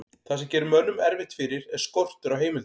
það sem gerir mönnum erfitt fyrir er skortur á heimildum